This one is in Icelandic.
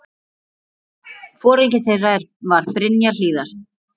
Foringi þeirra var Brynja Hlíðar.